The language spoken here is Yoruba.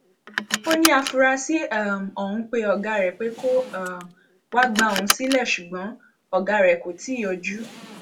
ó ní àfúráṣí um ọhún pe ọgá rẹ pé kó um wàá gba òun sílẹ ṣùgbọn ọgá rẹ kò tí ì yọjú